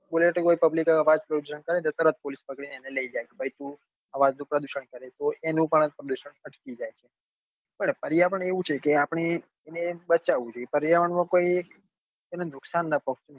બ bullet police કરે તો તરત અવાજ pollution પકડી ને લઇ જાય કે ભાઈ તું અવાજ નું પ્રદુષણ કરે છે તો તેનું પણ પ્રદુષણ અટકી જાય છે પણ પર્યાવરણ એવું છે કે આપડે એન બચાવવું જોઈએ પર્યાવરણ માં કોઈ એનનું નુકસાન નાં પોકતું હોય